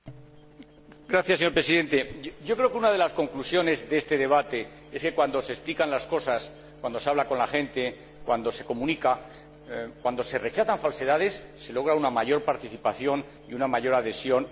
Señor Presidente, yo creo que una de las conclusiones de este debate es que cuando se explican las cosas, cuando se habla con la gente, cuando se comunica, cuando se rechazan falsedades, se logra una mayor participación y una mayor adhesión al proyecto europeo.